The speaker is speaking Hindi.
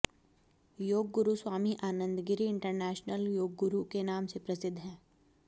योग गुरु स्वामी आनंद गिरि इंटरनेशनल योगगुरु के नाम से प्रसिद्ध हैं